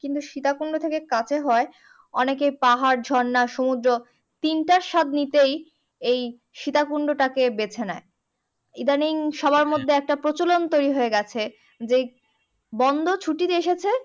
কিন্তু সীতাকুন্ড থেকে কাছে হয় অনেকে পাহাড় ঝর্ণা সমুদ্র তিনটার স্বাদ নিতেই এই সীতাকুন্ড টাকে বেছে নেই ইদানিং সবার মধ্যে একটা প্রচলন তৈরী হয়ে গেছে যে বন্দ ছুটির এসেছে